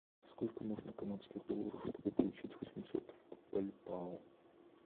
сколько нужно канадских долларов чтобы получить восемьсот бальбоа